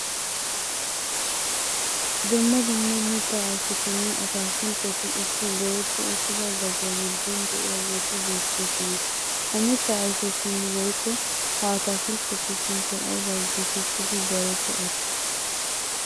Dumma dumma mitta ayfetinne atakiltteti issi goyetti uttida gadiyaa gidon diyaageti beettosona. Ha mitta ayfettinne woyikko ha atakilttetu suunttay aybba geettetidi darotto eretti?